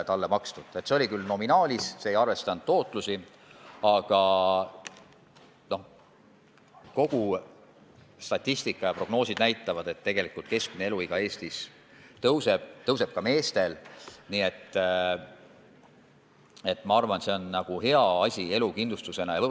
See arvestus oli küll nominaalis, see ei arvestanud tootlust, aga statistika ja prognoosid näitavad, et tegelikult keskmine eluiga Eestis kasvab – kasvab ka meestel –, nii et ma arvan, et see on elukindlustusena hea asi.